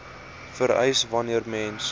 vereis wanneer mens